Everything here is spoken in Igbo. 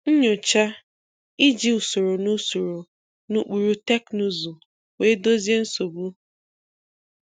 Nnyocha - iji usoro na usoro na ụkpụrụ teknuzu wee dozie nsogbu.